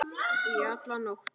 Í alla nótt.